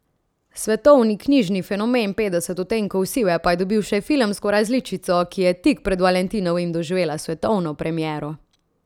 Svetovni knjižni fenomen Petdeset odtenkov sive pa je dobil še filmsko različico, ki je tik pred valentinovim doživela svetovno premiero.